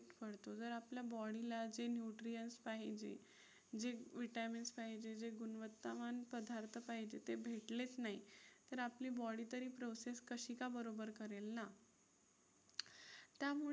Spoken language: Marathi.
पण तू जर आपल्या body ला जे nutrients पाहिजे, जे vitamins पाहिजे, जे गुणवत्तावान पदार्थ पाहिजे ते भेटलेच नाही तर आपली body तरी process कशी का बरोबर करेल ना? त्यामुळे